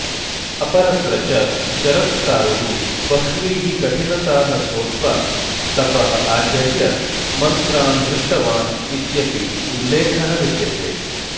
अपरत्र च जरत्कारुः बह्वीः कठिनताः सोढ्वा तपः आचर्य मन्त्रान् दृष्टवान् इत्यपि उल्लेखः विद्यते